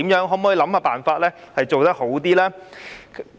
可否想辦法做得更好？